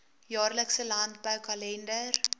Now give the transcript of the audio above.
jaarlikse landbou kalender